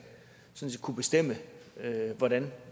kunne bestemme hvordan